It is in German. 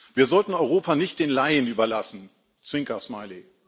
Wir sollten Europa nicht den Laien überlassen Zwinkersmiley.